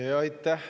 Aitäh!